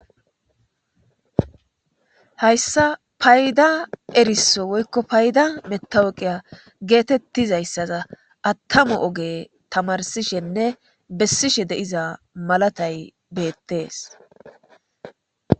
hayssa payda eriso woykko payda metaweqiya geetettizayssaza attamu oge tamarsishenne bessishe de'iza malatay beettees